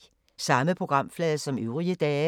Samme programflade som øvrige dage